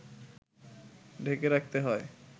ঢেকে রাখতে হয়